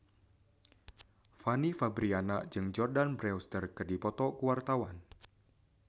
Fanny Fabriana jeung Jordana Brewster keur dipoto ku wartawan